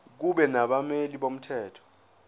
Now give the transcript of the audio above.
kube nabameli bomthetho